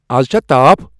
از چھا تاپھ ۔